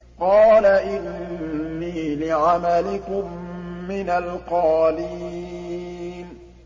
قَالَ إِنِّي لِعَمَلِكُم مِّنَ الْقَالِينَ